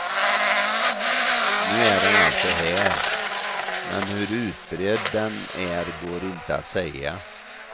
Nu är den alltså här, men hur utbredd den är går inte att säga.